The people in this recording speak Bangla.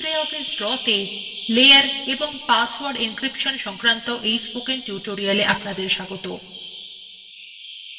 libreoffice drawbasics of layers and password encryption PDF spoken tutorialএ আপনাকে স্বাগত